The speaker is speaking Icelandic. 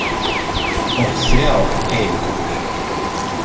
Og þrjár eiginkonur.